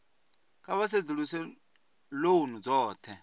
kha vha sedzuluse lounu dzothe